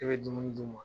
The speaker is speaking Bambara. I bɛ dumuni d'u ma